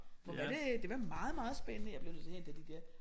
Hvor var det det var meget meget spændende jeg bliver nødt til at hente de der